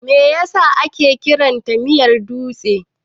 Me yasa ake kiranta miyar dutse?